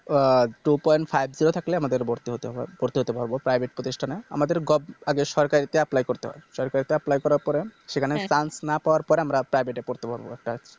আহ Two point five zero থাকলে আমাদের ভর্তি হতে হয় ভর্তি হতে পারবো Private প্রতিষ্ঠানে আমাদের Government আগে সরকারিতে Apply করতে হয় সরকারিতে Apply করার পরে সেখানে না Chance পাওয়ার পরে আমরা Private এ পড়তে পারবে একটা